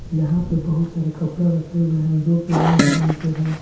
यहां पे बहुत सारा कपड़ा रखे हुए हैं जो की रंग बिरंगे हैं।